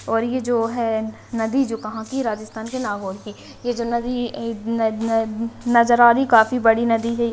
और यह जो है नदी जो कहां की राजस्थान के नागौर की ये जो नज़र आ रही काफी बड़ी नदी है।